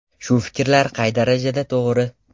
Shu fikrlar qay darajada to‘g‘ri?